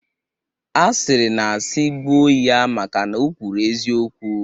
A sịrị na sị gbuo ya maka na o kwuru eziokwu.